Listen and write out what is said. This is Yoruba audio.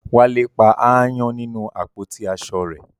Wálé pa aáyán nínú àpótí aṣọ rẹ̀